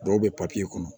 Dɔw bɛ kɔnɔ